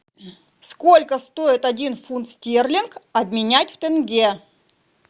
сколько стоит один фунт стерлинг обменять в тенге